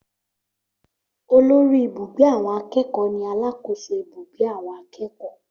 Olórí ìbúgbé àwọn akẹ́kọ̀ọ́ ni alákòóso ibùgbé àwọn akẹ́kọ̀ọ́